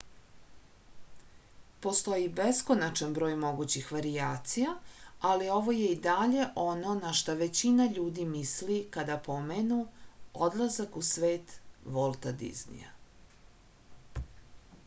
postoji beskonačan broj mogućih varijacija ali ovo je i dalje ono na šta većina ljudi misli kada pomenu odlazak u svet volta diznija